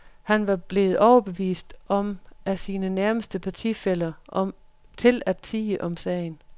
Han var blevet overbevist af sine nærmeste partifæller til at tie om sagen.